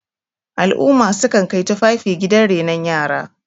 al'umma sukan Kai tufafi gidan renon yara